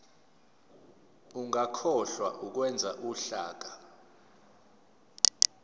ungakhohlwa ukwenza uhlaka